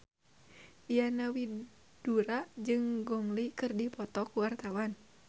Diana Widoera jeung Gong Li keur dipoto ku wartawan